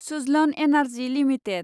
Suzlon energy limited